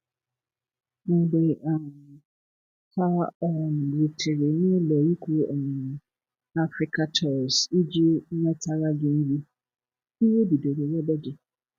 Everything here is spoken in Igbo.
Mgbe um ha um rutere n’ụlọikwuu um Africatours iji nwetara gi nri, iwe bidoro webe gi.